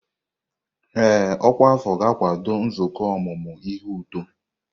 Ee, ọkwa afọ ga-akwado nzukọ ọmụmụ ihe uto.